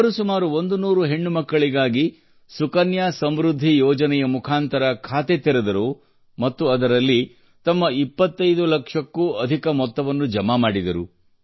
ಅವರು ಸುಮಾರು 100 ಹೆಣ್ಣು ಮಕ್ಕಳಿಗಾಗಿ ಸುಕನ್ಯಾ ಸಮೃದ್ಧಿ ಯೋಜನೆಯ ಮುಖಾಂತರ ಖಾತೆ ತೆರೆದರು ಮತ್ತು ಅದರಲ್ಲಿ ತಮ್ಮ 25 ಲಕ್ಷಕ್ಕೂ ಅಧಿಕಮೊತ್ತವನ್ನುಜಮಾ ಮಾಡಿದರು